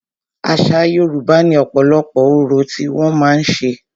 Àṣa Yorùbá ní ọ̀pọ̀lọpọ̀ orò tí wọ́n màá ń ṣe.